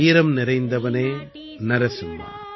வீரம் நிறைந்தவனே நரசிம்மா